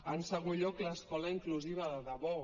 en segon lloc l’escola inclusiva de debò